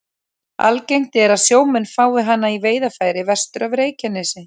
Algengt er að sjómenn fái hana í veiðarfæri vestur af Reykjanesi.